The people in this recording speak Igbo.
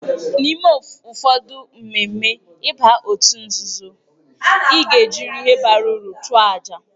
N'ime ụfọdụ mmemme ịba òtù nzuzo, ị ga-ejirịrị ihe bara uru chụọ àjà.